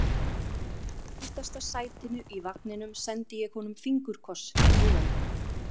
Og úr aftasta sætinu í vagninum sendi ég honum fingurkoss í huganum.